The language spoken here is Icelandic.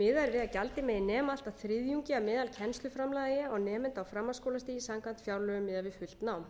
miðað er við að gjaldið megi nema allt að þriðjungi af meðalkennsluframlagi á nemanda á framhaldsskólastigi samkvæmt fjárlögum miðað við fullt nám